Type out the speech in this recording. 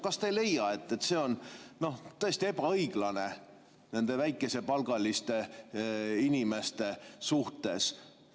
Kas te ei leia, et see on täiesti ebaõiglane nende väikesepalgaliste inimeste suhtes?